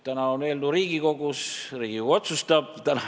Eelnõu on Riigikogus ja Riigikogu otsustab.